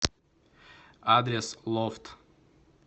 адрес лофт